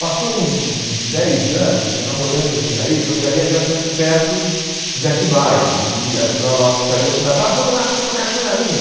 Passou hum uns dez anos, eu já morando em Jundiaí, Jundiaí é relativamente perto de Atibaia, e a Joanópolis perto de Atibaia, vá vamos lá, tem uma cachoeira linda.